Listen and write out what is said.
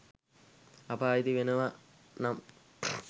අප අයිති වෙනව නම්